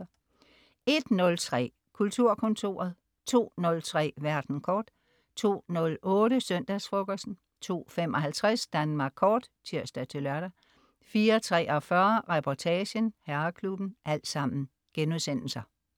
01.03 Kulturkontoret* 02.03 Verden kort* 02.08 Søndagsfrokosten* 02.55 Danmark Kort* (tirs-lør) 04.43 Reportagen: Herreklubben*